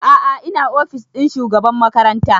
A'a ina ofis ɗin shugaban makaranta